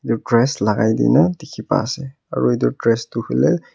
dress lagai dina dikhi pai ase aro itu dress toh huileh.